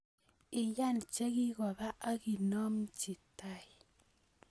Iyan chikikoba akinomji tai